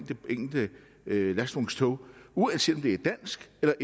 enkelte lastvognstog uanset om det er dansk eller